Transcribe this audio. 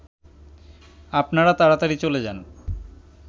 আপনারা তাড়াতাড়ি চলে যান